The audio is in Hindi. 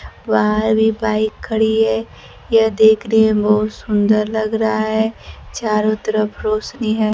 बाहर भी बाइक खड़ी है यह देख रहे हैं बहुत सुंदर लग रहा है चारों तरफ रोशनी है।